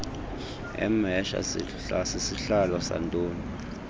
emhesha sisihlalo santoni